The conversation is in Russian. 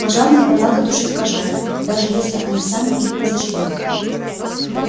пожарникам надо тушить пожары даже если они сами их разожгли